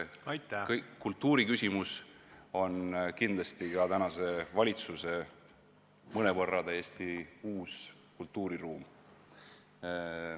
Kultuuriküsimus on kindlasti ka tänase valitsuse mõnevõrra täiesti uus kultuuriruum.